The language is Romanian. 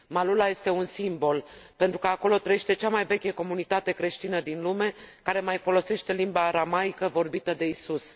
Maalula este un simbol, pentru că acolo trăiește cea mai veche comunitate creștină din lume care mai folosește limba aramaică vorbită de Isus.